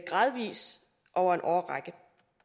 gradvis over en årrække